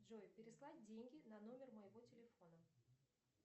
джой переслать деньги на номер моего телефона